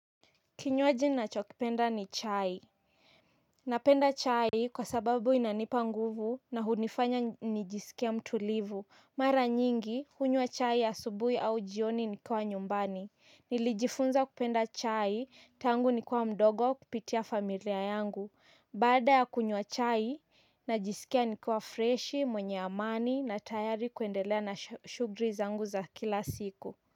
Kinywaji nacho kipenda ni chai. Napenda chai kwa sababu inanipa nguvu na hunifanya nijisikie mtulivu. Mara nyingi, hunywa chai ya asubui au jioni nikawa nyumbani. Nilijifunza kupenda chai tangu nikiwa mdogo kupitia familia yangu. Baada ya kunywa chai, najisikia nikiwa freshi, mwenye amani na tayari kuendelea na shughuli zangu za kila siku.